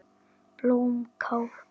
Blómkál bakað með osti